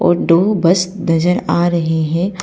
और दो बस नजर आ रहे है।